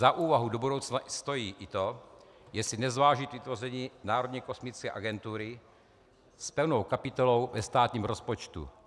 Za úvahu do budoucna stojí i to, jestli nezvážit vytvoření Národní kosmické agentury s pevnou kapitolou ve státním rozpočtu.